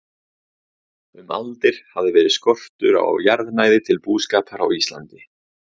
Um aldir hafði verið skortur á jarðnæði til búskapar á Íslandi.